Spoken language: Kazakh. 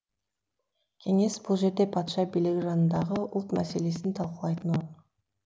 кеңес бұл жерде патша билігі жанындағы ұлт мәселесін талқылайтын орын